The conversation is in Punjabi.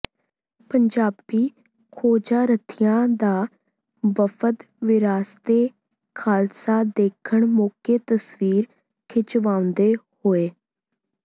ਪੰਜਾਬੀ ਖੋਜਾਰਥੀਆਂ ਦਾ ਵਫਦ ਵਿਰਾਸਤ ਏ ਖਾਲਸਾ ਦੇਖਣ ਮੋਕੇ ਤਸਵੀਰ ਖਿਚਵਾਉਂਦੇ ਹੋਏ